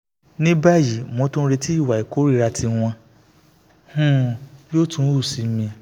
ní báyìí mò ń retí ìwà ìkórìíra tí wọn um yóò tún hù sí mi